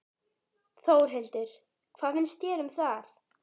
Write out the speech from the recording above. Þórhildur: Hvað finnst þér um það?